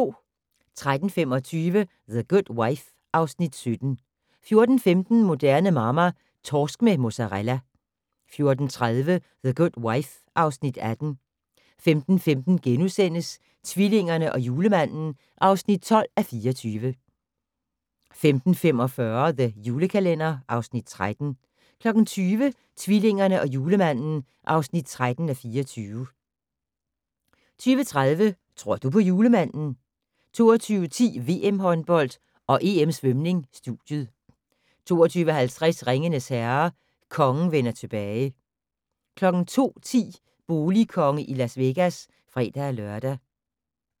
13:25: The Good Wife (Afs. 17) 14:15: Moderne Mamma - Torsk med mozarella 14:30: The Good Wife (Afs. 18) 15:15: Tvillingerne og Julemanden (12:24)* 15:45: The Julekalender (Afs. 13) 20:00: Tvillingerne og Julemanden (13:24) 20:30: Tror du på julemanden? 22:10: VM-håndbold og EM Svømning: Studiet 22:50: Ringenes Herre - Kongen vender tilbage 02:10: Boligkonge i Las Vegas (fre-lør)